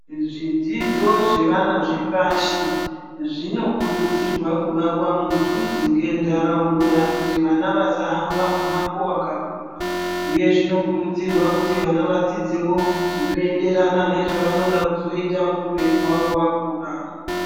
Zvidzidzo zvevana zvepashi zvinokuridzirwa kuvakwa mudhuze ngendaraunda kuti vasahamba mumango wakakura uye zvinokuridzirwa kuti vana vadzidzewo zvinoenderana nezvavanoda kuzoita muupenyu hwavo vakura.